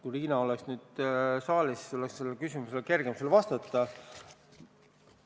Kui Riina oleks saalis, siis oleks sellele küsimusele kergem vastata.